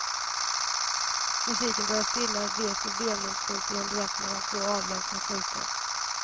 Musiken börjar stilla, vekt och vemodsfullt i duett mellan två avlägsna flöjter.